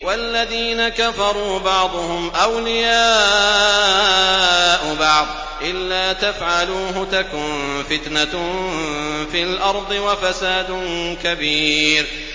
وَالَّذِينَ كَفَرُوا بَعْضُهُمْ أَوْلِيَاءُ بَعْضٍ ۚ إِلَّا تَفْعَلُوهُ تَكُن فِتْنَةٌ فِي الْأَرْضِ وَفَسَادٌ كَبِيرٌ